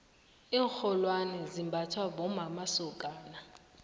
iinrholwane zimbathwa bommamasokana